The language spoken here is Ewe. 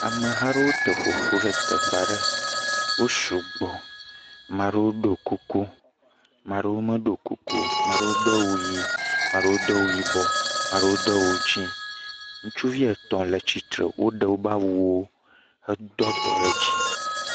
Ameh aɖewo te ƒo ƒu ɖe teƒe aɖe. wo sugbɔ. Maa ɖewo do kuku, maa ɖewo medo kuku o. maa ɖewo do awu yii, maa ɖewo do awu yibɔ, maa ɖewo do awu dzɛ̃. Ŋutsuvi etɔ̃ aɖewo le tsitsre, woɖe wobe awuwo hedo abɔ ɖe dzi.